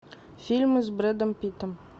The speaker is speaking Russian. фильмы с брэдом питтом